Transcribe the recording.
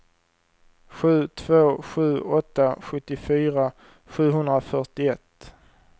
sju två sju åtta sjuttiofyra sjuhundrafyrtioett